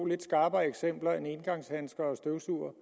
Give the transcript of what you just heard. lidt skarpere eksempel end engangshandsker og støvsugere